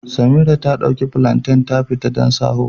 Samira ta ɗauki plantain ta fita don shaho